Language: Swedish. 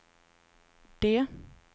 D